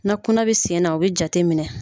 Na kunna bɛ sen na o bɛ jate minɛ.